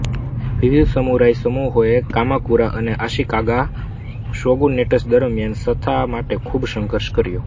વિવિધ સમુરાઇ સમૂહોએ કામાકુરા અને આશીકાગા શોગુનેટસ દરમિયાન સત્તા માટે ખૂબ સંઘર્ષ કર્યો